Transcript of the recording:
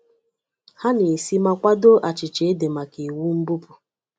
Ha na-esi ma kwadoo achịcha ede maka iwu mbupụ.